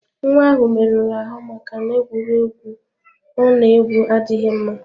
Nwa ahụ merụrụ ahụ maka na egwuregwu Ona egwu adịghị mma.